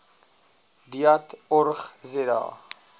deat org za